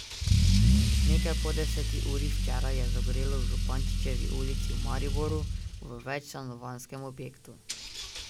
Nekaj po deseti uri včeraj je zagorelo v Župančičevi ulici v Mariboru v večstanovanjskem objektu.